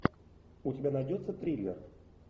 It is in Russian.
у тебя найдется триллер